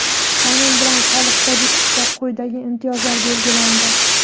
Qonun bilan Soliq kodeksida quyidagi imtiyozlar belgilandi:.